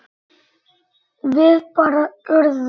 Við bara urðum.